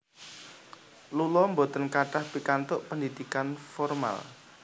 Lula boten kathah pikantuk pendidikan formal